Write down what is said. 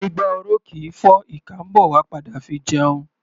Igbá oró kì í fọ́; ìkà ḿbọ̀ wá padà fi jẹun.